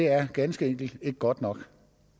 er ganske enkelt ikke godt nok